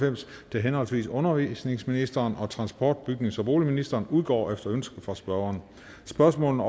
til henholdsvis undervisningsministeren og transport bygnings og boligministeren udgår efter ønske fra spørgeren spørgsmålene